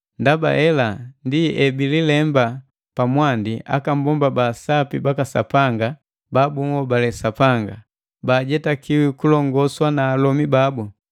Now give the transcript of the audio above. Ndaba hela ndi ebijilemba pa mwandi akabomba baasapi baka Sapanga ba bunhobale sapanga; baajetaki kulongoswa na alomi babu.